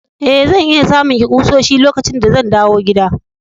Eh, zan iya samun ki kusoshi lokacin da zan dawo gida.